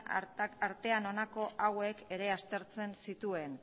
artean honako hauek ere aztertzen zituen